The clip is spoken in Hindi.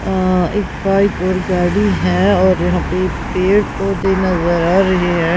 अं एक बाइक और गाड़ी हैं और यहां पे पेड़ पौधे नजर आ रहे हैं।